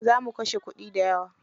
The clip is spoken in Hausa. Za mu kashe kuɗi dayawa.